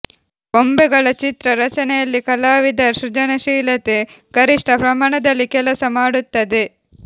ಗೊಂಬೆಗಳ ಚಿತ್ರ ರಚನೆಯಲ್ಲಿ ಕಲಾವಿದರ ಸೃಜನಶೀಲತೆ ಗರಿಷ್ಠ ಪ್ರಮಾಣದಲ್ಲಿ ಕೆಲಸ ಮಾಡುತ್ತದೆ